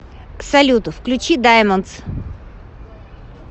салют включи даймондс